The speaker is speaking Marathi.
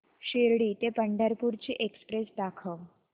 शिर्डी ते पंढरपूर ची एक्स्प्रेस दाखव